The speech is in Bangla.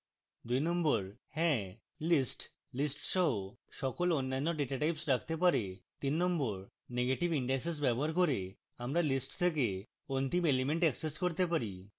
2 হ্যাঁ list list yes সকল অন্যান্য data types রাখতে পারে